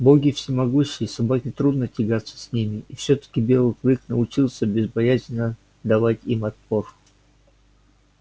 боги всемогущи и собаке трудно тягаться с ними и всё таки белый клык научился безбоязненно давать им отпор